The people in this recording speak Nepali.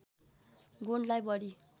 गुणलाई बढी